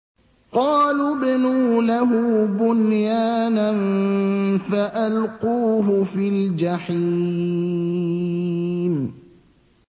قَالُوا ابْنُوا لَهُ بُنْيَانًا فَأَلْقُوهُ فِي الْجَحِيمِ